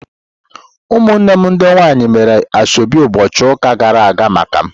Ụmụnne m ndị nwanyị mere asheobi ụbọchị ụka gara aga maka m.